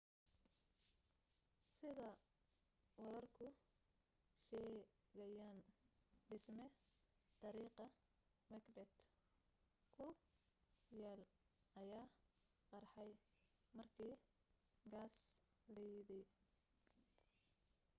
sida wararku sheegayaan dhisme dariiqa macbeth ku yaal ayaa qarxay markii gaas liidey